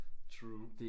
True